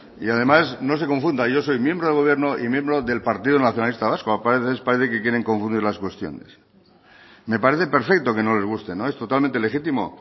y además no se confunda yo soy miembro del gobierno y miembro del partido nacionalista vasco a veces parece que quieren confundir las cuestiones me parece perfecto que no les guste es totalmente legítimo